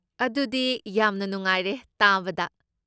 ꯑꯗꯨꯗꯤ ꯌꯥꯝꯅ ꯅꯨꯡꯉꯥꯏꯔꯦ ꯇꯥꯕꯗ꯫